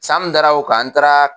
San mun dara o kan n taara